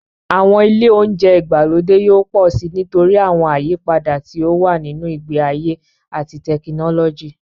Àwọn ilé oúnjẹ ìgbàlódé yóò pọ̀ síi nítorí àwọn àyípadà tí ó wà nínú ìgbé ayé àti tẹkinọ́lọ́jì.m